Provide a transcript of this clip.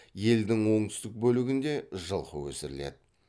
елдің оңтүстік бөлігінде жылқы өсіріледі